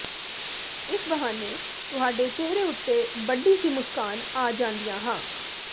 ਇਸ ਬਹਾਨੇ ਤੁਹਾਡੇ ਚਿਹਰੇ ਉੱਤੇ ਵੱਡੀ ਸੀ ਮੁਸਕਾਨ ਆ ਜਾਂਦੀਆਂ ਹਾਂ